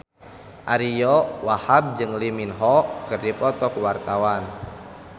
Ariyo Wahab jeung Lee Min Ho keur dipoto ku wartawan